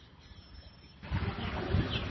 வணக்கம் பிரவீன்